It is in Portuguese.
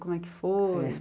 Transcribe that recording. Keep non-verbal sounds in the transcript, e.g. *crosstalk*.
Como é que foi? *unintelligible*